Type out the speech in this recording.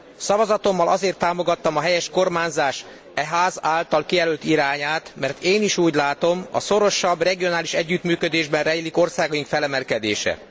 Szavazatommal azért támogattam a helyes kormányzás e Ház által kijelölt irányát, mert én is úgy látom, a szorosabb regionális együttműködésben rejlik országaink felemelkedése.